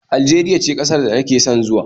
Aljeriya ce ƙasar da nake son zuwa